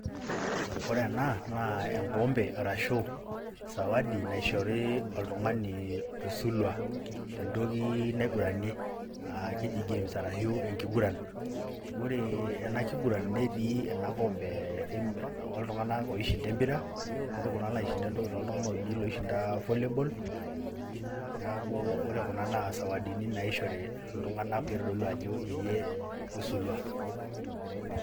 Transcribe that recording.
Ore ena na enkompe arashu sawadi naishori oltung'ani oisulwa te ntoki naiguranie um keji gift te enkiguran. Ore ena kiguran netii ena kompee o iltung'ana oishinda empira, netii lo kulie tung'ana oishinda volleyball. Neaku ore Kuna naa isawadini naishori oltung'ana otadua ajo iyie oisulwa.